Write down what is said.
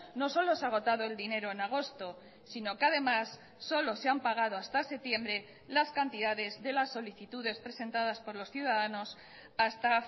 no solo se ha agotado el dinero en agosto sino que además solo se han pagado hasta septiembre las cantidades de las solicitudes presentadas por los ciudadanos hasta